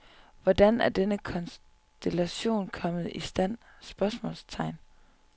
Hvordan er denne konstellation kommet i stand? spørgsmålstegn